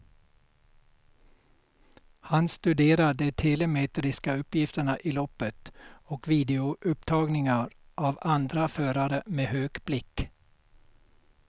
Han studerar de telemetriska uppgifterna i loppet och videoupptagningar av andra förare med hökblick.